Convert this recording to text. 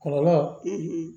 Kɔlɔlɔ